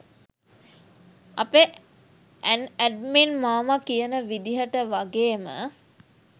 අපේ ඇන්ඇඩ්මින් මාමා කියන විදිහට වගේම